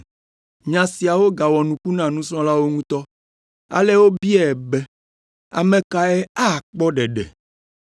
Nya siawo gawɔ nuku na nusrɔ̃lawo ŋutɔ. Ale wobiae be, “Ame kae akpɔ ɖeɖe?”